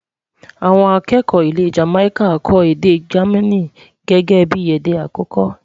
àwọn akẹkọ ilé Jamaica kò èdè germain gẹgẹ bí èdè akoko